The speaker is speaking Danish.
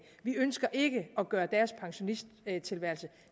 vi ønsker ikke at gøre deres pensionisttilværelse